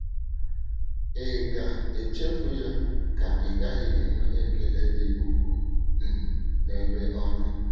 Ị̀ ga - echefu ya, ka ị́ gaghị enwe ekele dị ukwuu um n’ebe ọ nọ?